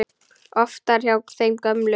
Oftar hjá þeim gömlu.